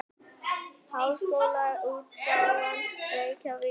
Háskólaútgáfan Reykjavík.